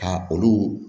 Ka olu